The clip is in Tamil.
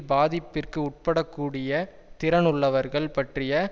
பாதிப்பிற்கு உட்படக்கூடிய திறன் உள்ளவர்கள் பற்றிய